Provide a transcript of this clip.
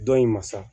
Dɔ in ma sa